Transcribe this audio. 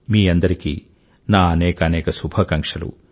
మీ అందరికీ నా అనేకానేక శుభాకాంక్షలు